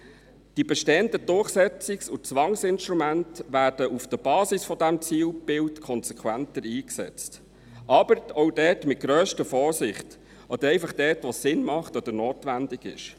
: Die bestehenden Durchsetzungs- und Zwangsinstrumente werden auf der Basis dieses Zielbilds konsequenter eingesetzt, aber auch dort mit grösster Vorsicht, oder einfach dort, wo es Sinn macht oder notwendig ist.